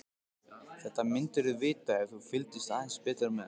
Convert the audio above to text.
Þetta myndirðu vita ef þú fylgdist aðeins betur með.